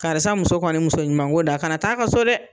Karisa muso kɔni muso ɲuman ko dan, kana taa a ka so dɛ!